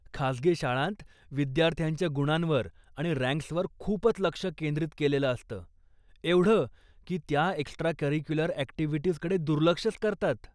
खासगी शाळांत विद्यार्थ्यांच्या गुणांवर आणि रँक्सवर खूपच लक्ष केंद्रित केलेलं असतं, एवढं की त्या एक्स्ट्रा करिक्युलर अॅक्टिव्हिटीजकडे दुर्लक्षच करतात.